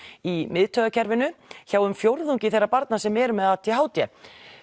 í miðtaugakerfinu hjá um fjórðungi þeirra barna sem eru með a d h d